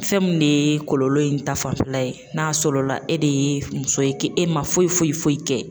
Fɛn min de ye kɔlɔlɔ in ta fanfɛla ye n'a sɔrɔ la e de ye muso ye k'e e ma foyi foyi foyi kɛ